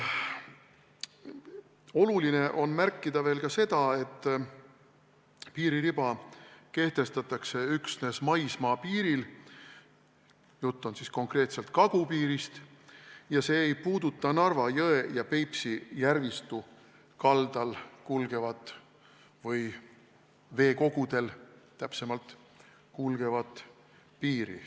Oluline on märkida veel seda, et piiririba kehtestatakse üksnes maismaapiiril – jutt on konkreetselt kagupiirist – ja see ei puuduta Narva jõe ja Peipsi järvistu kaldal kulgevat või täpsemalt veekogudel kulgevat piiri.